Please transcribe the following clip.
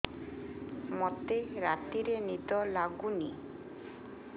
ମୋତେ ରାତିରେ ନିଦ ଲାଗୁନି